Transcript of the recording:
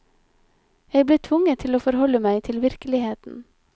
Jeg ble tvunget til å forholde meg til virkeligheten.